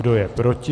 Kdo je proti?